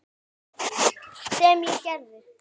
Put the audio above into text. Sem ég og gerði.